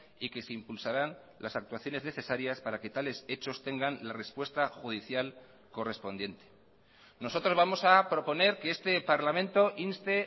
y que se impulsarán las actuaciones necesarias para que tales hechos tengan la respuesta judicial correspondiente nosotros vamos a proponer que este parlamento inste